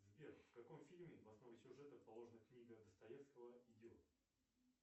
сбер в каком фильме в основу сюжета положена книга достоевского идиот